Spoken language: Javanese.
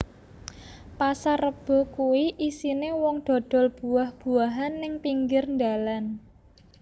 Pasar Rebo kui isine wong dodol buah buahan ning pinggir ndalan